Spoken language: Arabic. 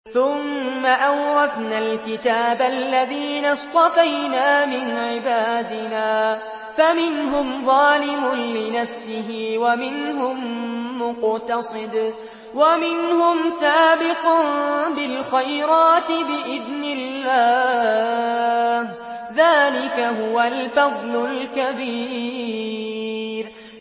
ثُمَّ أَوْرَثْنَا الْكِتَابَ الَّذِينَ اصْطَفَيْنَا مِنْ عِبَادِنَا ۖ فَمِنْهُمْ ظَالِمٌ لِّنَفْسِهِ وَمِنْهُم مُّقْتَصِدٌ وَمِنْهُمْ سَابِقٌ بِالْخَيْرَاتِ بِإِذْنِ اللَّهِ ۚ ذَٰلِكَ هُوَ الْفَضْلُ الْكَبِيرُ